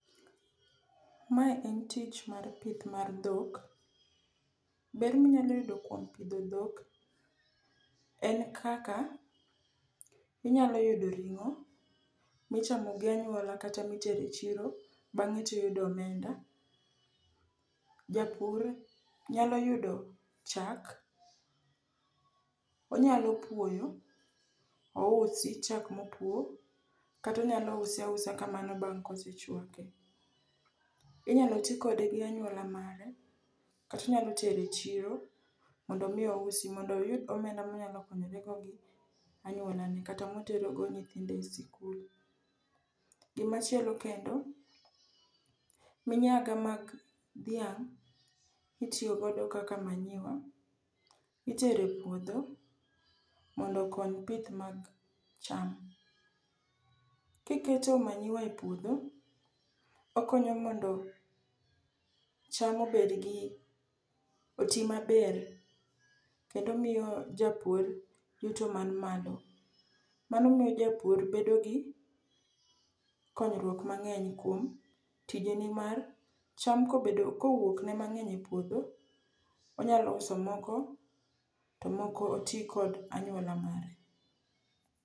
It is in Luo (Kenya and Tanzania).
Mae en tich mar pith mar dhok. Ber minyalo yudo kuom pidho dhok en kaka inyalo yudo ring'o michamo gi anyuola kata mitere chiro bang'e tiyudo omenda. Japur nyalo yudo chak, onyalo puoyo, ousi chak mopuo kata onyalo use ausa kamano bang' koschwake. Inyalo ti kode gi anyuola mare kata onyalo tero e chiro mondo omi ousi mondo oyud omenda monyalo konyorego gi anyuolane kata moterogo nyithinde e sikul. Gimachielo kendo, minyaga mag dhiang' mitiyogodo kaka manyiwa itero e puodho mondo okony pith mag cham. Kiketo manyiwa e puodho, okonyo mondo cham obedgi oti maber kendo miyo japur yuto man malo, mano miyo japur bedo gi konyruok mang'eny kuom tijene mar cham kowuokne mang'eny e puodho onyalo uso moko to moko oti kod anyuola mare.